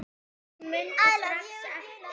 Hún mundi strax eftir